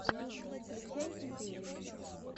включай империю